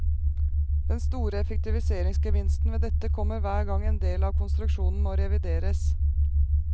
Den store effektiviseringsgevinsten ved dette kommer hver gang en del av konstruksjonen må revideres.